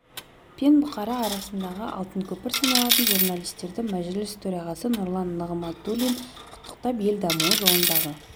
пен бұқара арасындағы алтын көпір саналатын журналистерді мәжіліс төрағасы нұрлан нығматулин құттықтап ел дамуы жолындағы